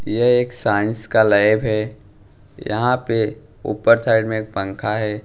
यह एक साइंस का लैब है यहाँ पे ऊपर साइड में एक पँखा है।